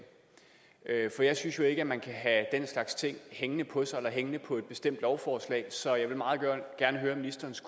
for jeg synes jo ikke at man kan have den slags ting hængende på sig eller hængende på et bestemt lovforslag så jeg vil meget gerne høre ministerens